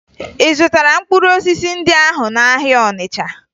Ị zụtara mkpụrụ osisi ndị ahụ n'ahịa Ọnịcha?